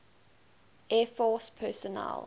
air force personnel